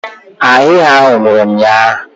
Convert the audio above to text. Ahịhịa ahụ nwụrụ ụnyahụ.